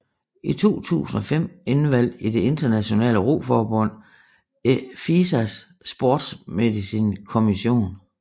I 2005 indvalgt i det internationale roforbund FISAs Sports Medicine Commission